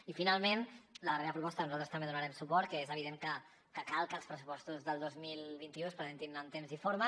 i finalment la darrera proposta nosaltres també hi donarem suport que és evident que cal que els pressupostos del dos mil vint u es presentin amb temps i forma